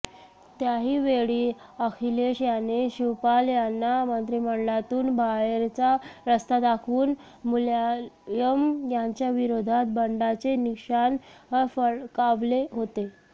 त्याहीवेळी अखिलेश यांनी शिवपाल यांना मंत्रिमंडळातून बाहेरचा रस्ता दाखवून मुलायम यांच्याविरोधात बंडाचे निशाण फडकावले होते